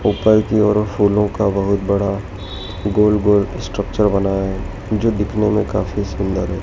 ऊपर से फूलों का बहुत बड़ा गोल-गोल स्ट्रक्चर बनाया है जो देखने में काफी सुंदर है।